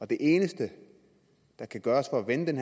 det eneste der kan gøres for at vende den